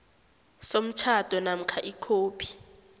somtjhado namkha ikhophi